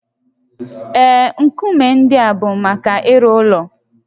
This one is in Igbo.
Ee, nkume ndị a bụ maka ịrụ ụlọ